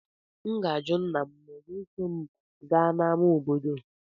M ga-ajụ nna m ma ọ ga-eso m gaa n'ámá obodo.